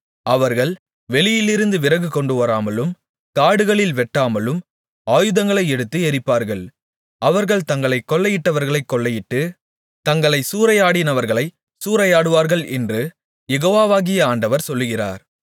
அவர்கள் வெளியிலிருந்து விறகு கொண்டுவராமலும் காடுகளில் வெட்டாமலும் ஆயுதங்களை எடுத்து எரிப்பார்கள் அவர்கள் தங்களைக் கொள்ளையிட்டவர்களைக் கொள்ளையிட்டு தங்களைச் சூறையாடினவர்களைச் சூறையாடுவார்கள் என்று யெகோவாகிய ஆண்டவர் சொல்லுகிறார்